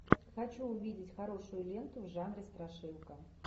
хочу увидеть хорошую ленту в жанре страшилка